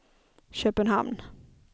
Köpenhamn